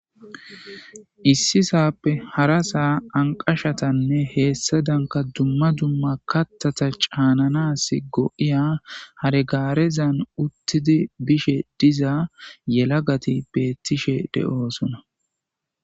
issi saappe hara saa anqashatanne heessa danka dumma dumma kattata caananas go7iya haregaarezan uttidi bishe diza yelagati beettishe de7oosona